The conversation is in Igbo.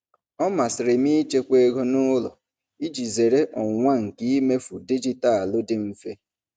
Ọ masịrị m ịchekwa ego n'ụlọ iji zere ọnwụnwa nke imefu dijitalụ dị mfe.